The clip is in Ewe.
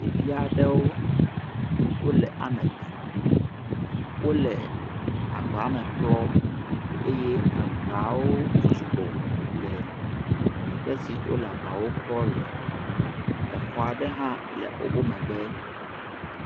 ɖeviaɖewo wóle ametɔ̃ wóle agbame klɔ eye agbawo sugbɔ le teƒe si wóle agbawo klɔ le exɔa ɖe hã le wó megbe